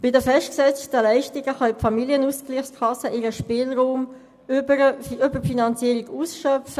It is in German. Bei den festgesetzten Leistungen können die Familienausgleichskassen ihren Spielraum über die Finanzierung ausschöpfen.